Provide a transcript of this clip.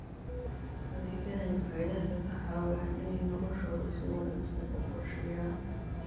Adeegyadani waxay dadka ka caawiyaan inay noloshooda si wanaagsan u qorsheeyaan.